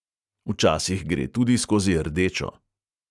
Včasih gre tudi skozi rdečo.